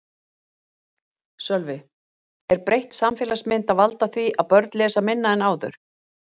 Sölvi: Er breytt samfélagsmynd að valda því að börn lesa minna en áður?